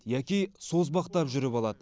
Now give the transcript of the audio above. яки созбақтап жүріп алады